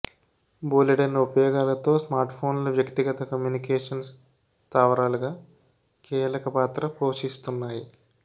బోలేడన్ని ఉపయోగాలతో స్మార్ట్ఫోన్లు వ్యక్తిగత కమ్యూనికేషన్ స్థావరాలుగా కీలక పాత్ర పోషిస్తున్నాయి